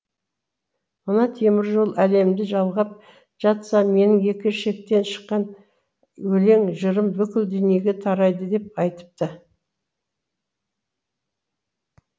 мына темір жол әлемді жалғап жатса менің екі шектен шыққан өлең жырым бүкіл дүниеге тарайды деп айтыпты